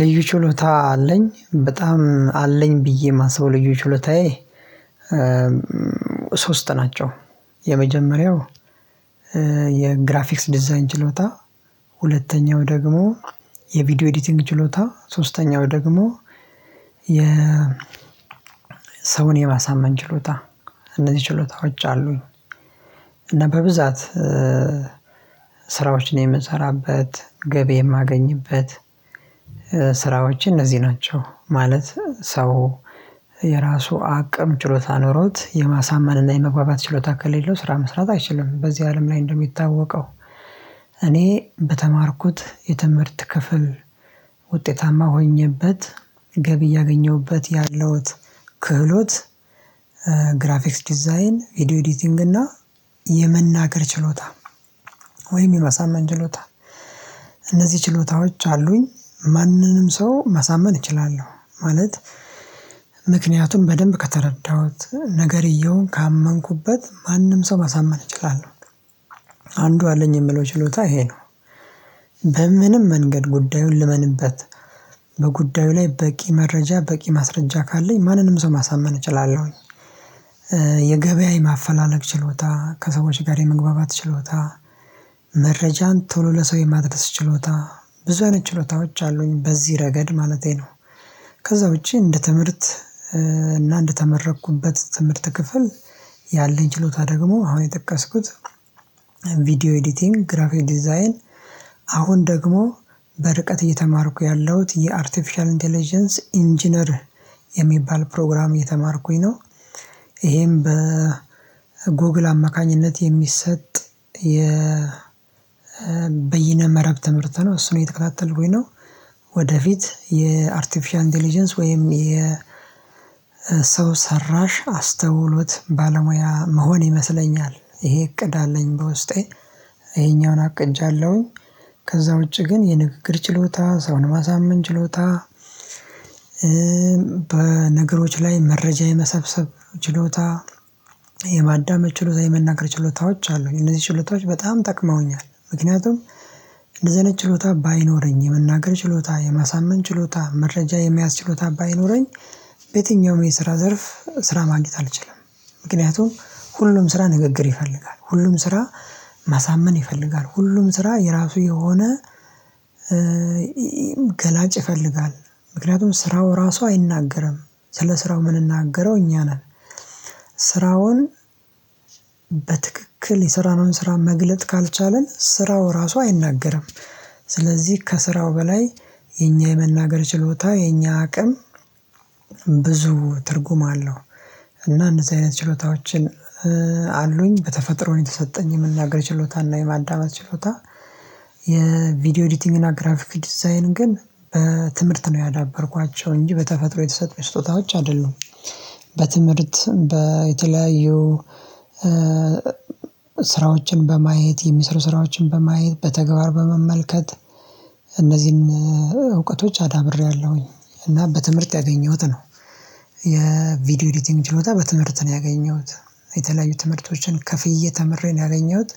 ልዩ ችሎታ አለኝ በጣም አለኝ ብዬ የማስበው ልዩ ችሎታዬ ሶስት ናቸው። የመጀመሪያው የግራፊክስ ዲዛይን ችሎታ። ሁለተኛው ደግሞ የቪዲዮ ኤዲቲንግ ችሎታ። ሶስተኛው ደግሞ የ ሰውን የማሳመን ችሎታ። እነዚህ ችሎታዎች አሉኝ። እና በብዛት ስራዎችን የምሰራበት ገቢ የማገኝበት ስራዎች እነዚህ ናቸው። ማለት ሰው የራሱ አቅም ችሎታ ኖሮት የማሳመን እና የመግባባት ችሎታ ከሌለው ስራ መስራት አይችልም። በዚህ አለም ላይ እንደሚታወቀው። እኔ በተማርኩት የትምህርት ክፍል ውጤታማ ሆኜበት ገቢ ያገኘሁበት ያለሁት ክህሎት። ግራፊክስ ዲዛይን ቪዲዮ ኤዲቲንግ እና የመናገር ችሎታ ወይም የማሳመን ችሎታ። እነዚህ ችሎታዎች አሉኝ ማንንም ሰው ማሳመን እችላለሁ ማለት። ምክንያቱም በደንብ ከተረዳሁት ነገርየውን ካመንኩበት ማንም ሰው ማሳመን እችላለሁ። አንዱ አለኝ የምለው ችሎታ ይሄ ነው። በምንም መንገድ ጉዳዩን ልመንበት በጉዳዩ ላይ በቂ መረጃ በቂ ማስረጃ ካለኝ ማንንም ሰው ማሳመን እችላለሁኝ። የገበያ የማፈላለግ ችሎታ ከሰዎች ጋር የመግባባት ችሎታ። መረጃን ቶሎ ለሰው የማድረስ ችሎታ። ብዙ አይነት ችሎታዎች አሉኝ በዚህ ረገድ ማለቴ ነው። ከዛ ውጪ እንደ ትምህርት እና እንደ ተመረኩበት ትምህርት ክፍል ያለኝ ችሎታ ደግሞ አሁን የጠቀስኩት። ቪዲዮ ኤዲቲንግ ግራፊክ ዲዛይን አሁን ደግሞ በርቀት እየተማርኩ ያለሁት የአርቲፊሻል ኢንተለጀንስ ኢንጂነር የሚባል ፕሮግራም እየተማርኩኝ ነው። ይሄም በ ጎግል አማካኝነት የሚሰጥ የ በይነ መረብ ትምህርት ነው እሱን እየተከታተልኩኝ ነው። ወደፊት የአርቲፊሻል ኢንተለጀንስ ወይም የሰው ሰራሽ አስተውሎት ባለሙያ ምሆን ይመስለኛል ይሄ እቅድ አለኝ በውስጤ። ይሄኛውን አቅጃለሁኝ። ከዛ ውጪ ግን የንግግር ችሎታ ሰውን ማሳመን ችሎታ። በነገሮች ላይ መረጃ የመሰብሰብ ችሎታ። የማዳመጥ ችሎታ የመናገር ችሎታዎች አሉኝ እነዚህ ችሎታዎች በጣም ጠቅመውኛል። ምክንያቱም እንደዚህ አይነት ችሎታ ባይኖረኝ የመናገር ችሎታ የማሳመን ችሎታ መረጃ የመያዝ ችሎታ ባይኖረኝ። በየትኛውም የስራ ዘርፍ ስራ ማግኘት አልችልም። ምክንያቱም ሁሉም ስራ ንግግር ይፈልጋል ሁሉም ስራ ማሳመን ይፈልጋል ሁሉም ስራ የራሱ የሆነ ገላጭ ይፈልጋል። ምክንያቱም ስራው ራሱ አይናገርም ስለ ስራው ምንናገረው እኛ ነን። ስራውን በትክክል የስራነውን ስራ መግለጥ ካልቻልን ስራው ራሱ አይናገርም። ስለዚህ ከስራው በላይ የኛ የመናገር ችሎታ የኛ አቅም ብዙ ትርጉም አለው። እና እንደዚህ አይነት ችሎታዎችን አሉኝ በተፈጥሮ የተሰጠኝ የመናገር ችሎታና የማዳመጥ ችሎታ። የቪዲዮ ኤዲቲንግ እና ግራፊክ ዲዛይን ግን በትምህርት ነው ያዳበርኳቸው እንጂ በተፈጥሮ የተሰጠኝ ስጦታዎች አይደሉም። በትምህርት በተለያዩ ስራዎችን በማየት የሚስሩ ስራዎችን በማየት በተግባር በመመልከት እነዚህን እውቀቶች አዳብሬያለሁኝ እና በትምህርት ያገኘሁት ነው። የቪዲዮ ኤዲቲንግ ችሎታ በትምህርት ነው ያገኘሁት። የተለያዩ ትምህርቶችን ከፍዬ ተምሬ ነው ያገኘሁት።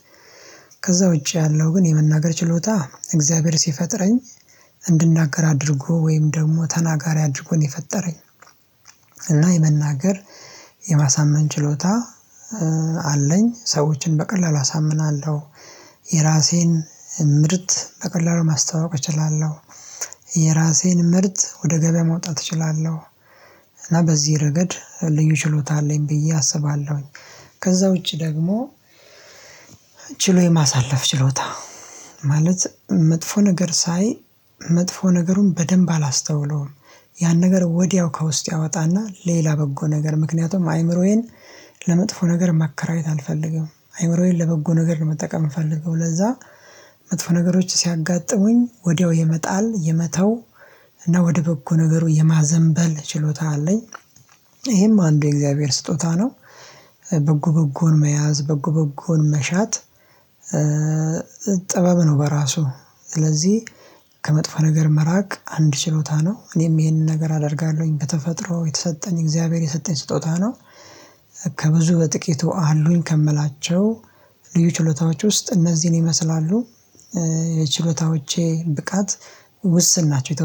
ከዛ ውጪ ያለው ግን የመናገር ችሎታ እግዚአብሔር ሲፈጥረኝ እንድናገር አድርጎ ወይም ደግሞ ተናጋሪ አድርጎ ነው የፈጠረኝ። እና የመናገር የማሳመን ችሎታ አለኝ ሰዎችን በቀላሉ አሳምናለሁ። የራሴን ምርት በቀላሉ ማስተዋወቅ እችላለሁ። የራሴን ምርት ወደ ገበያ ማውጣት እችላለሁ። እና በዚህ ረገድ ልዩ ችሎታ አለኝ ብዬ አስባለሁኝ። ከዛ ውጪ ደግሞ ችሎ የማሳለፍ ችሎታ ማለት መጥፎ ነገር ሳይ መጥፎ ነገሩን በደንብ አላስተውለውም። ያን ነገር ወዲያው ከውስጥ አወጣና ሌላ በጎ ነገር ምክንያቱም አይምሮዬን ለመጥፎ ነገር ማከራየት አልፈልግም አይምሮዬን ለበጎ ነገር ነው መጠቀም የምፈለገው ለዛ። መጥፎ ነገሮች ሲያጋጥሙኝ ወዲያው የመጣል የመተው እና ወደ በጎ ነገሩ የማዘንበል ችሎታ አለኝ። ይሄም አንዱ የእግዚአብሔር ስጦታ ነው። በጎ በጎን መያዝ በጎ በጎን መሻት ጥበብ ነው በራሱ። ስለዚህ ከመጥፎ ነገር መራቅ አንድ ችሎታ ነው። እኔም ይሄንን ነገር አደርጋለሁኝ ከተፈጥሮ የተሰጠኝ እግዚአብሔር የሰጠኝ ስጦታ ነው። ከብዙ በጥቂቱ አሉኝ ከምላቸው ልዩ ችሎታዎች ውስጥ እነዚህን ይመስላሉ። የችሎታዎቼ ብቃት ውስን ናቸው